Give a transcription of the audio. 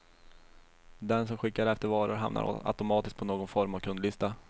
Den som skickar efter varor hamnar automatiskt på någon form av kundlista.